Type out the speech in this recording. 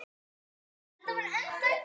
Elsku Egill.